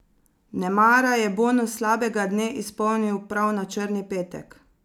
Nemara je bonus slabega dne izpolnil prav na črni petek.